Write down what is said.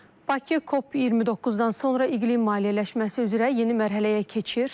Bakı COP29-dan sonra iqlim maliyyələşməsi üzrə yeni mərhələyə keçir.